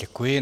Děkuji.